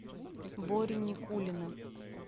бори никулина